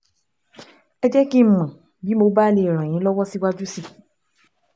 Ẹ jẹ́ kí n mọ̀ bí mo bá lè ràn yín lọ́wọ́ síwájú sí i